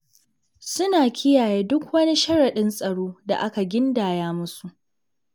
Suna kiyaye duk wani sharaɗin tsaro da aka gindaya musu.